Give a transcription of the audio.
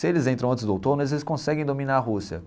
Se eles entram antes do outono, eles conseguem dominar a Rússia.